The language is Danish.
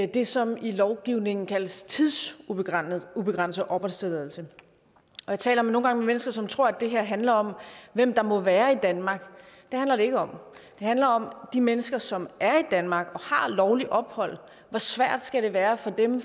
det som i lovgivningen kaldes tidsubegrænset opholdstilladelse jeg taler nogle gange med mennesker som tror at det her handler om hvem der må være i danmark det handler det ikke om det handler om de mennesker som er i danmark og har lovligt ophold hvor svært skal det være for dem